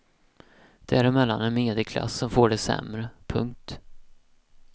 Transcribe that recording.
Däremellan en medelklass som får det sämre. punkt